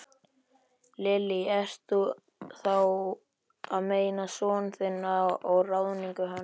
Lillý: Ertu þá að meina son þinn og ráðningu hans?